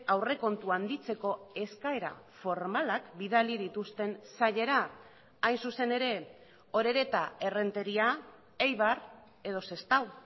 aurrekontua handitzeko eskaera formalak bidali dituzten sailera hain zuzen ere orereta errenteria eibar edo sestao